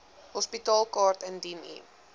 hospitaalkaart indien u